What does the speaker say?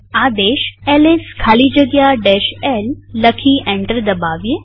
આદેશ એલએસ ખાલી જગ્યા l લખી એન્ટર દબાવીએ